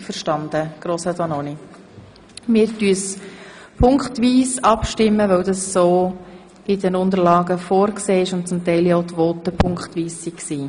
Wir werden punktweise darüber abstimmen, weil dies in den Unterlagen so vorgesehen ist und teilweise ja auch in den Voten so behandelt wurde.